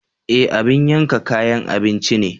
Ee! abin yanka kayan abinci ne.